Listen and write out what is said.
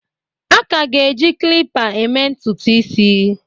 A ka ga-eji klipa eme ntutu isi.